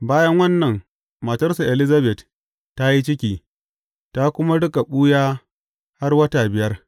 Bayan wannan, matarsa Elizabet ta yi ciki, ta kuma riƙa ɓuya har wata biyar.